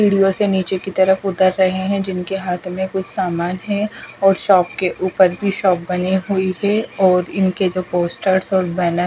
video से नीचे की तरफ उतर रहे हैं जिनके हाथ में कुछ सामान है और शॉप के ऊपर भी शॉप बनी हुई है और इनके जो पोस्टर्स और बैनर --